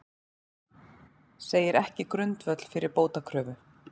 Segir ekki grundvöll fyrir bótakröfu